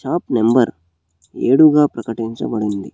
ఆ నంబర్ ఏడు గా ప్రకటించబడి ఉంది.